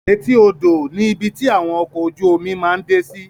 Èti odo ni ibi ti awọn ọkọ ojú omi máa ǹ de si